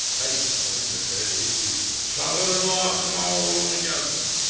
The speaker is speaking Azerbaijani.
Bəy hirslənib nökərə dedi ki, çağırın o axmaq oğlunu gəlsin.